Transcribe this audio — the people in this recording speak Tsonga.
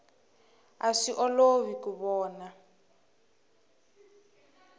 a swi olovi ku vona